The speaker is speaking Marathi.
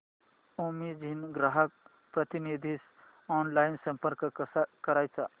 अॅमेझॉन ग्राहक प्रतिनिधीस ऑनलाइन संपर्क कसा करायचा